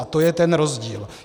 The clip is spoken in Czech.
A to je ten rozdíl.